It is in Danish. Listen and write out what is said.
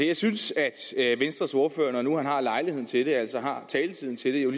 jeg synes at venstres ordfører når nu han har lejligheden til det altså har taletiden til det jo